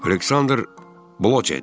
Aleksandr Blojet.